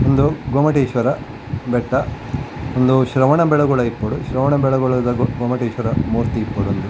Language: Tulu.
ಉಂದು ಗೊಮ್ಮಟೇಶ್ವರ ಬೆಟ್ಟ ಉಂದು ಶ್ರವನಬೆಳಗೋಳ ಇಪ್ಪೊಡು ಶ್ರವನಬೆಳಗೋಳ ದ ಗೊಮ್ಮಟೇಶ್ವರ ಮೂರ್ತಿ ಇಪ್ಪೊಡು ಉಂದು .